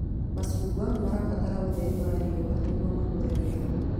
Macungwa mabataraga ũtheri wa riũa nĩguo makũre wega